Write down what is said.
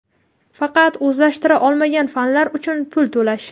faqat o‘zlashtira olmagan fanlari uchun pul to‘lash.